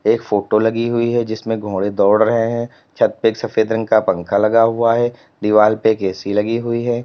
एक फोटो लगी हुई है जिसमें घोड़े दौड़ रहे है छत पे एक सफेद रंग का पंखा लगा हुआ है दीवाल पे एक ए_सी लगी हुई है।